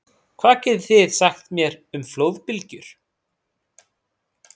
Hvað getið þið sagt mér um flóðbylgjur?